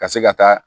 Ka se ka taa